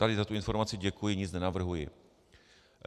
Tady za tu informaci děkuji, nic nenavrhuji.